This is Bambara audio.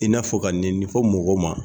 I n'a fɔ ka nɛninin fɔ mɔgɔ ma